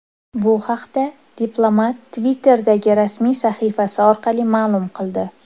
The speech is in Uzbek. Bu haqda diplomat Twitter’dagi rasmiy sahifasi orqali ma’lum qildi .